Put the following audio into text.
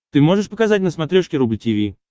ты можешь показать на смотрешке рубль ти ви